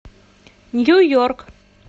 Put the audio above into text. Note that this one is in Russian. нью йорк